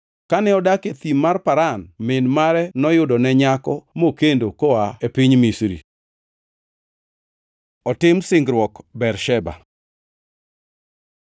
Kane odak e thim mar Paran, min mare noyudone nyako mokendo koa e piny Misri. Otim singruok Bersheba